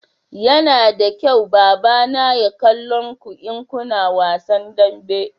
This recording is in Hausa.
Yana da kyau baba na kallon ku in kuna wasan dambe